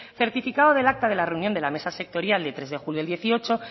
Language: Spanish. certificado del acta de la reunión de la mesa sectorial del tres de julio del dieciocho